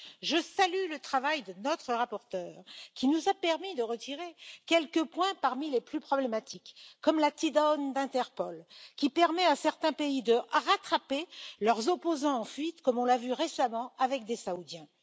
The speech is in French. Je salue le travail de notre rapporteur, qui nous a permis de retirer quelques points parmi les plus problématiques, comme la TDAWN d'Interpol, qui permet à certains pays de rattraper leurs opposants en fuite, comme on l'a vu récemment dans le cas de Saoudiens.